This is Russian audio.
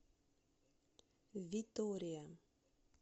витория